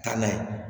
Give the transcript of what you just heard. Taa n'a ye